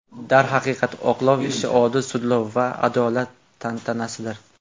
Darhaqiqat, oqlov ishi odil sudlov va adolat tantanasidir.